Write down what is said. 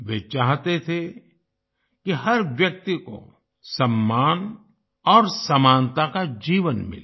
वे चाहते थे कि हर व्यक्ति को सम्मान और समानता का जीवन मिले